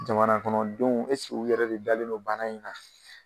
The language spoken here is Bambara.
Jamana kɔnɔ denw ɛseke u yɛrɛ de dalen do bana in na.